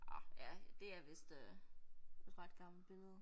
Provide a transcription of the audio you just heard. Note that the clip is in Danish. Ah ja det er vist øh et ret gammelt billede